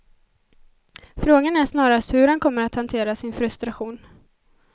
Frågan är snarast hur han kommer att hantera sin frustration.